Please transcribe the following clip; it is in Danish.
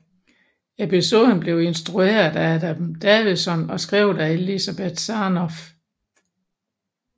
Episoden blev instrueret af Adam Davidson og skrevet af Elizabeth Sarnoff